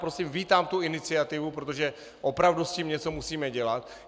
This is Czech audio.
Prosím, vítám tu iniciativu, protože opravdu s tím něco musíme dělat.